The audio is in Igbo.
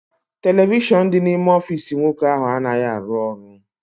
Televishọn dị n'ime ọfịịsi nwoke ahụ anaghị arụ ọrụ.